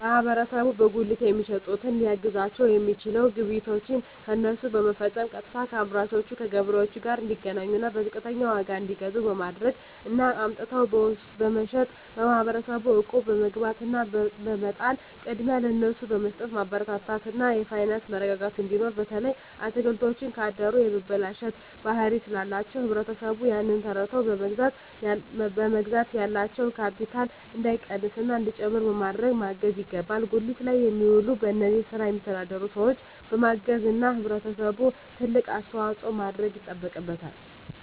ማህበረሰቡ በጉሊት የሚሸጡትን ሊያግዛቸዉ የሚችለዉ ግብይቶችን ከነሱ በመፈፀም ቀጥታከአምራቹ ከገበሬዎቹ ጋር እንዲገናኙና በዝቅተኛ ዋጋ እንዲገዙ በማድረግ እና አምጥተዉ በመሸጥ ማህበረሰቡ እቁብ በመግባት እና በመጣል ቅድሚያ ለነሱ በመስጠትማበረታታት እና የፋይናንስ መረጋጋት እንዲኖር በተለይ አትክልቶች ካደሩ የመበላሸት ባህሪ ስላላቸዉ ህብረተሰቡ ያንን ተረድተዉ በመግዛት ያላቸዉ ካቢታል እንዳይቀንስና እንዲጨምር በማድረግ ማገዝ ይገባል ጉሊት ላይ የሚዉሉ በዚህ ስራ የሚተዳደሩ ሰዎችን በማገዝና ህብረተሰቡ ትልቅ አስተዋፅኦ ማድረግ ይጠበቅበታል